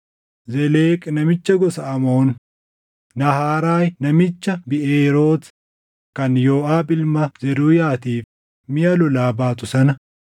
Zeleq namicha gosa Amoon, Nahaaraay namicha Biʼeeroot kan Yooʼaab ilma Zeruuyaatiif miʼa lolaa baatu sana,